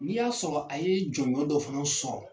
N'i y'a sɔrɔ a ye jɔnɔn dɔ fana sɔrɔ